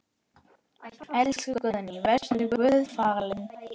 Elsku Guðný, vertu Guði falin.